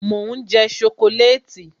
mo n je sokoleti